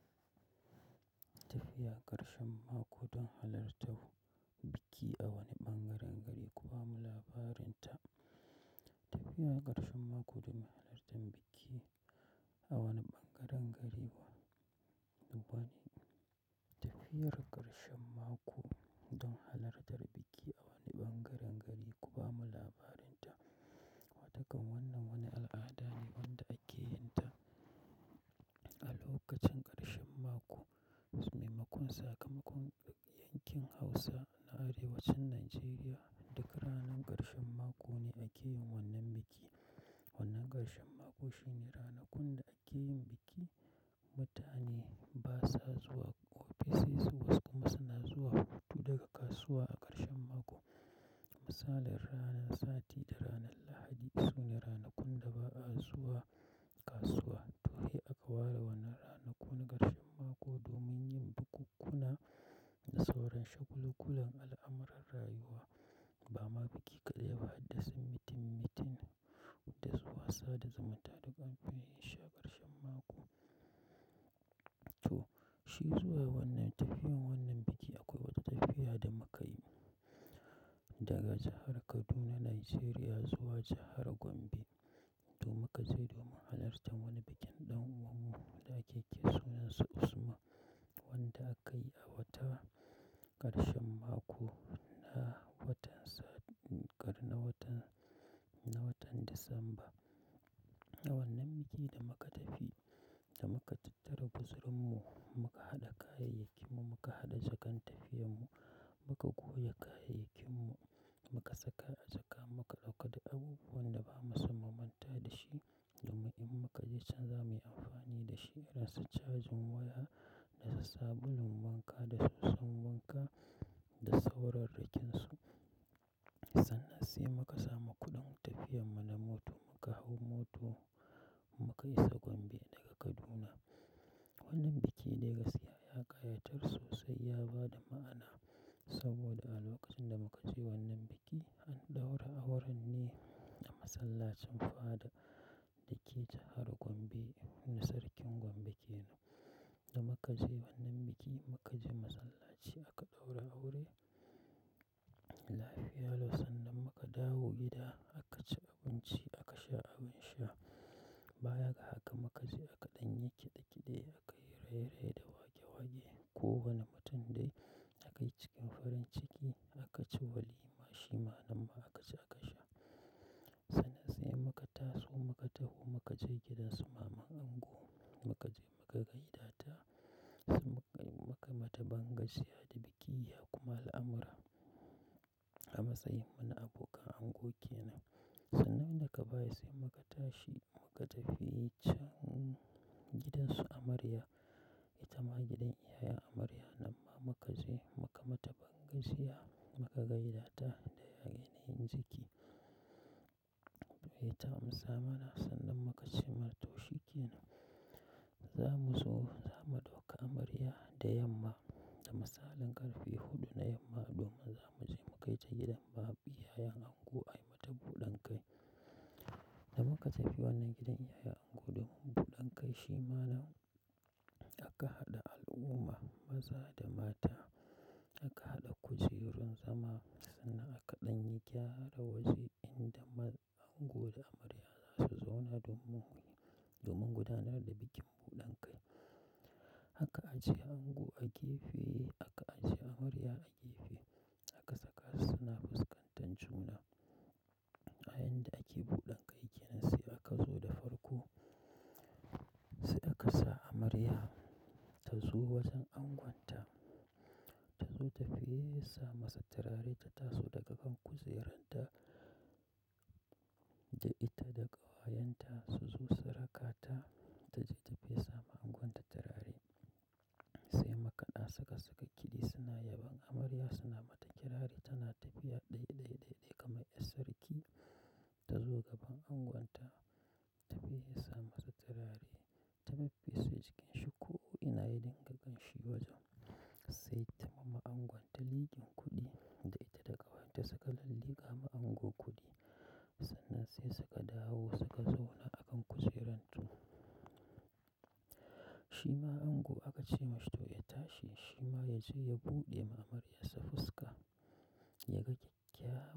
Tafiya ƙarshen mako don halartan biki a wani ɓangaren gari kuma labarin ta. Tafiya ƙarshen mako domin halartar biki a wani ɓangaren gari gari ku bamy labarin ta. Watakan wannan wani al'ada ne wanda ake yin ta, a lokacin ƙarshen mako, maimakon sakamakon yankin Hausa na arewacin Nijeriya. Duka ranar ƙarshen mako ne ake yin wannan biki. Wannan ƙarshen mako shine ranakun da ake yin biki. Mutane basa zuwa ofisai su wasu kuma suna zuwa hutu daga kasuwa a ƙarshen mako. Misalin ranan sati da ranan Lahadi sune ranakun da ba'a zuwa kasuwa. To, sai aka ware wannan rana kun na ƙarshen mako domin yin bukunkuna da sauran shagul-gulan al'amuran rayuwa. Bama biki kaɗai ba hadda sun mitin-mitin, huda zuwa sa' da zaman tare dukan shi ne sha ƙarshen mako. To, shi zuwa wannan tafiyan wannan biki akwai wata tafiya da muka yi daga jahar Kaduna Nijeriya zuwa jahar Gombe. Domin ka je domin halartar wani bikin ɗan uwan mu da ake kira sunansa Usman wanda akayi a wata ƙarshen mako na watan sa-- ƙar na watan, na watan Disamba, a wannan biki da muka tafi da muka tattara guzurun mu muka haɗa kayayakin mu, muka haɗa jakan tafiyan mu, muka goge kayayakin mu, muka saka a jaka, muka ɗauka da abubuwan da bamu so mu manta da shi, domin in muka je can za mu yi amfani da shi irin su cajin waya da sabulun wanka da soson wanka da sauran rakinsu. Sannan sai muka samu kuɗin tafiyan mu na moto muka hau moto muka isa Gombe daga Kaduna. Wannan biki dai gaskiya ya ƙayatar sosai ya bada ma'ana saboda a lokacin da muka je wannan biki an ɗaura auren ne a masallacin faɗa, dake jahar Gombe na sarkin Gombe kenan. Da muka je wannan biki muka je masallaci aka ɗaura aure, lafiya lau sannan muka dawo gida aka ci abinci aka sha abin sha. Baya ga haka muka je aka ɗan yi kide-kide aka yi raye-raye da wake-wake. Kowane mutum dai aka yi cikin farin ciki aka ci walima shima nan ma aka ci aka sha, sannan sai muka taso muka tafi muka je gidansu maman ango, muka je muka gaida ta sai muka mata bangajiya da biki ya kuma al'amura. An matsa yin mu na abokan ango kenan. Sannan daga baya sai muka tashi muka tafi can gidan su amarya. Ita ma gidan iyayen amarya nan ma muka je muka mata ban gajiya muka gaida ta da ya yanayin jiki. To, ita mu sa mana sannan muka ce mata "to shikenan, za mu zo za mu ɗauka amarya da yamma." Da misalin ƙarfe huɗu na yamma domin za mu je mu kai ta gidan maɓiyayan ango ayi mata buɗan kai. Da muka tafi wannan gidan iyayen ango domin buɗan kai shima nan aka haɗa al'umma maza da mata. Aka haɗa kujerun zama sannan aka ɗan yi gyara da waje inda ango da amarya za su zauna domin, domin gudanar da bikin buɗan kai. Aka a je ango a gefe aka a je amarya a gefe aka saka su suna fuskantan juna. A yayinda ake buɗan kai kenan sai aka zo da farko sai aka sa amarya ta zo wajen angonta. Ta zo ta fesa masa turare ta taso daga kan kujeranta, da ita da ƙawayenta su zo saraka ta taje ta fesa ma angon ta turare. Sai makaɗa saka saka ƙidi suna yaban amarya suna mata kirari tana tafiya ɗai-ɗai, ɗai-ɗai kamar 'yar sarki ta zo gaban angonta ta fesa masa turare ta fise cikin shuku ina ya dinga kanshi wajen. Sai ta mamu angonta liƙin kuɗi da ita da ƙawayenta suka lalli ka ma ango kuɗi. Sannan sai suka dawo suka zauna a kan kujerantu. Shima ango aka ce mashi "to ya tashi." Shima ya je ya buɗe ma amarya sa fuska, ya ga kyakyawa.